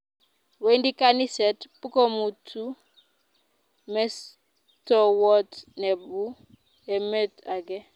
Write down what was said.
Wendi kaniset pkomutu mestowot nebu emet ake